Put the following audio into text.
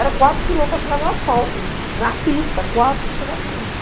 Era quatro quilômetros para chegar no asfalto, na pista, quatro para chegar na pista.